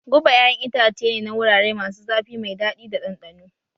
Guba ƴaƴan itace ne na wurare masu zafi mai daɗi da ɗanɗano